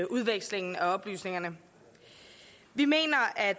udvekslingen af oplysninger vi mener at